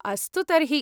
अस्तु तर्हि।